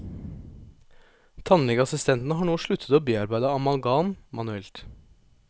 Tannlegeassistentene har nå sluttet å bearbeide amalgam manuelt.